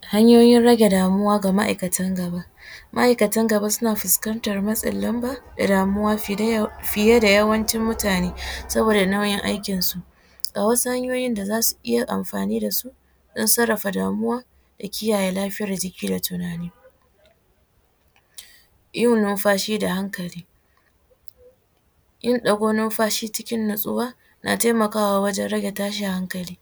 Hanyoyin rage damuwa ga ma’aikatan gaba, ma’aikatan gaba suna fuskantar matsin lamba da damuwa fiye da yawancin mutane saboda nauyin aikin su a wasu hanyoyin da zasu iya amfani da su don sarafa damuwa da kiyaye lafiyar jiki da damuwa, yin nunfashi da hankali yin dago nunfashi cikin natsuwa na taimakawa wajen rage tashin hankali,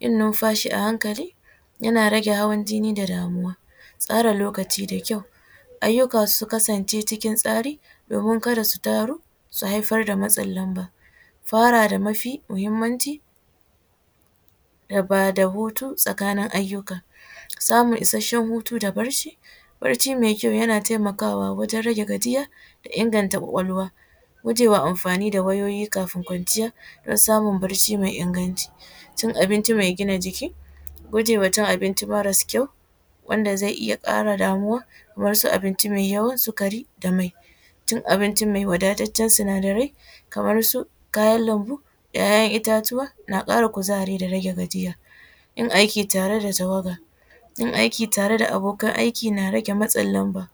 yin nunfashi a hankali yana rage hawan jinni da damuwa, tsara lokaci da kyau, ayyuka su kasance cikin tsari domin kada su taru su haifar da matsin lamba, fara da mafi muhimmanci da bada hutu tsakanin ayyuka, samun isasshen hutu da bacci bacci mai kyau yana taimakawa wajen rage gajiya da inganta kwakwalwa, guje wa amfani da wayoyi kafin kwanciya don samun bacci mai inganci, cin abinci mai gina jiki guje wa cin abinci marasu kyau wanda zai iya kara damuwa kamar su abinci mai yawan sigari da mai cin abinci mai wadatacen sinadarai kamar su kayan lambu da kayan itatuwa na kara kuzari da rage gajiya yin aiki tare da tawaga yin aiki tare da abokan aiki na rage matsin lamba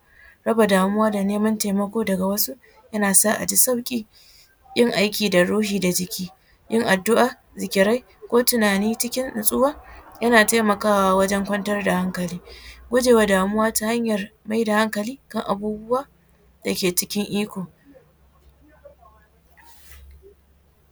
raba damuwa da neman taimako daga wasu yana sa aji sauki yin aiki da ruhi da jiki yin addua, zikirai ko tunani cikin natsuwa yana taimakawa wajen kwantar da hankali gujewa damuwa ta hanyar mai da hankali kan abubuwa dake cikin iko.